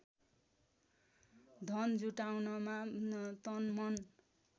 धन जुटाउनमा तनमन